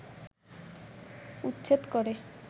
উচ্ছেদ করে